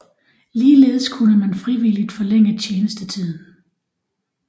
Ligeledes kunne man frivilligt forlænge tjenestetiden